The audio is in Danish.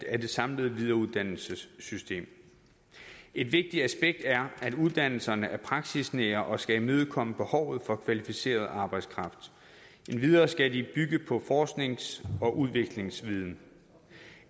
af det samlede videreuddannelsessystem et vigtigt aspekt er at uddannelserne er praksisnære og skal imødekomme behovet for kvalificeret arbejdskraft endvidere skal de bygge på forsknings og udviklingsviden